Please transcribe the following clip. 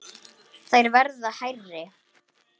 Þær verða hærri.